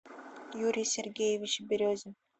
юрий сергеевич березин